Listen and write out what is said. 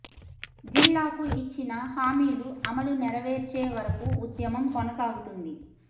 జిల్లాకు ఇచ్చిన హామీలు అమలు నెరవేర్చే వర కూ ఉద్యమం కొనసాగుతుంది